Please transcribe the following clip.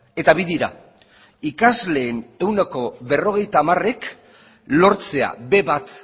eta bi dira ikasleen ehuneko berrogeita hamarek lortzea be bat